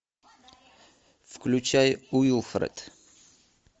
включай уилфред